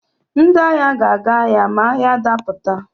Ndị agha ga-aga agha ma agha dapụta.